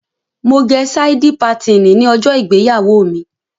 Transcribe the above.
Mo gẹ sáídí patìnì ní ọjọ́ ìgbéyàwó mi.